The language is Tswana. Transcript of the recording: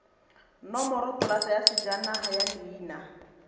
nomoropolata ya sejanaga ya leina